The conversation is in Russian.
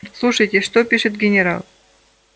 слушайте что пишет генерал